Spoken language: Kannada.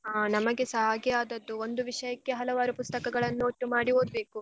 ಹಾ ನಮಗೆಸ ಹಾಗೆ ಆದದ್ದು ಒಂದು ವಿಷಯಕ್ಕೆ ಹಲವಾರು ಪುಸ್ತಕಗಳನ್ನು ಒಟ್ಟು ಮಾಡಿ ಓದ್ಬೇಕು.